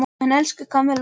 En, elsku Kamilla.